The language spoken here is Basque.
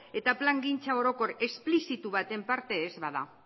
eta plangintza orokor esplizitu baten parte ez bada